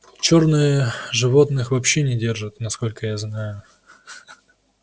чёрные животных вообще не держат насколько я знаю